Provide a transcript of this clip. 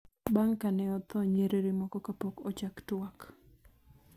bang� ka ne otho nyiriri moko kapok ochak twak.